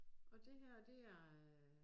Og det her det er øh